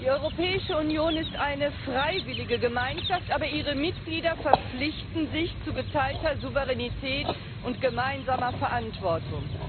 Herr Präsident! Die Europäische Union ist eine freiwillige Gemeinschaft, aber ihre Mitglieder verpflichten sich zu geteilter Souveränität und gemeinsamer Verantwortung.